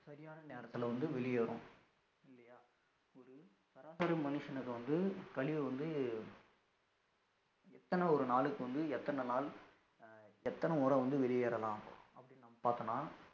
சரியான நேரத்திலே வந்து வெளியேறும் இல்லயா ஒரு சராசரி மனுஷனுக்கு வந்து கழிவை வந்து எத்தனை ஒரு நாளுக்கு வந்து எத்தனை நாள் எத்தன முறை வந்து வெளியேறலாம் அப்படினு பார்த்தோம்னா